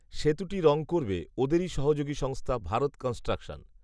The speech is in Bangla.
সেতুটি রং করবে ওদেরই সহযোগী সংস্থা ভারত কনস্ট্রাকশন